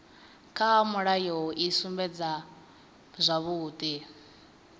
kha mulayo i sumbedza zwavhudi